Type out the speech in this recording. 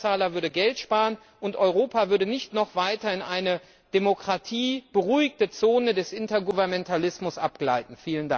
Der Steuerzahler würde Geld sparen, und Europa würde nicht noch weiter in eine demokratieberuhigte Zone des Intergouvernementalismus abgleiten.